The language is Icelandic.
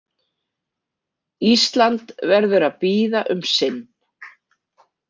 Ísland verður að bíða um sinn.